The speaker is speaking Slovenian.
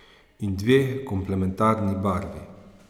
In dve komplementarni barvi.